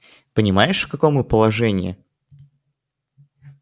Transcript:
понимаешь в каком мы положении